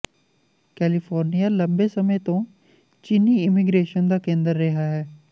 California ਲੰਬੇ ਸਮੇਂ ਤੋਂ ਚੀਨੀ ਇਮੀਗ੍ਰੇਸ਼ਨ ਦਾ ਕੇਂਦਰ ਰਿਹਾ ਹੈ